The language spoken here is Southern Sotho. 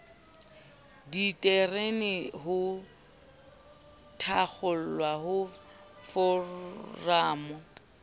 ditereke ho thakgolwa ha foramo